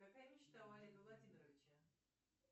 какая мечта у олега владимировича